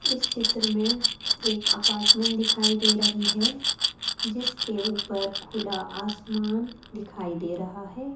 इस चित्र में एक अपार्टमेंट दिखाई दे रही है जिसके ऊपर खुला आसमान दिखाई दे रहा है।